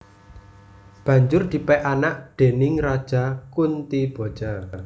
Banjur dipek anak déning Raja Kuntiboja